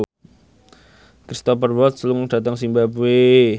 Cristhoper Waltz lunga dhateng zimbabwe